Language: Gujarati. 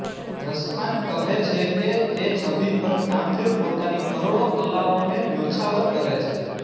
રસખાન કહે છે કે તે છબી પર કામદેવ પોતાની કરોડ઼ોં કલાઓં ને ન્યોછાવર કરે છે